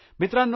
मित्रांनो